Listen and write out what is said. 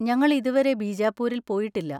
ഞങ്ങൾ ഇതുവരെ ബീജാപ്പൂരിൽ പോയിട്ടില്ല.